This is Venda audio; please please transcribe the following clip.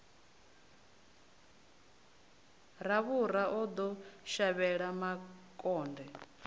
ravhura o ḓo shavhela makonde